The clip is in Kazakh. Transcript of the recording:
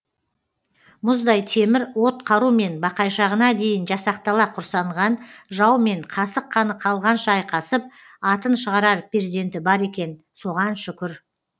мұздай темір от қарумен бақайшағына дейін жасақтала құрсанған жаумен қасық қаны қалғанша айқасып атын шығарар перзенті бар екен соған шүкір